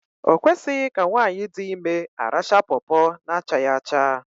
O kwesịghị ka nwaanyị di ime arachaa pọpọ na achaghị acha